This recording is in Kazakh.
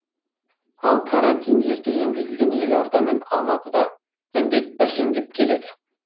ал карантин ерте енгізілген елорда мен алматыда індет бәсеңдеп келеді